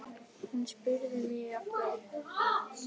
Hún spurði mig af hverju?